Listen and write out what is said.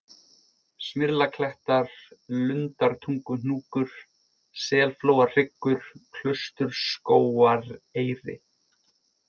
Smyrlaklettar, Lundartunguhnúkur, Selflóahryggur, Klausturskógareyri